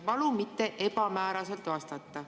Palun mitte ebamääraselt vastata.